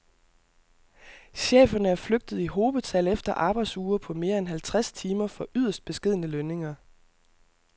Cheferne er flygtet i hobetal efter arbejdsuger på mere end halvtreds timer for yderst beskedne lønninger.